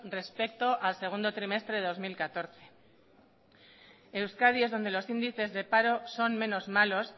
respecto al segundo trimestre del dos mil catorce euskadi es donde los índices de paro son menos malos